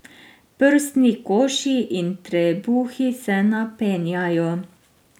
Prsni koši in trebuhi se napenjajo.